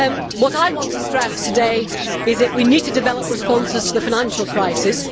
What I want to stress today is that we need to develop responses to the financial crisis.